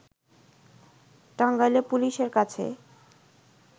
টাঙ্গাইলে পুলিশের কাছে